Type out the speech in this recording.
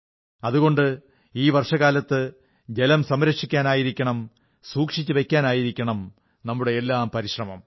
അതുകൊണ്ട് ഈ വർഷകാലത്ത് ജലം സംരക്ഷിക്കാനായിരിക്കണം സൂക്ഷിച്ചുവയ്ക്കാനായിരിക്കണം നമ്മുടെയെല്ലാം പരിശ്രമം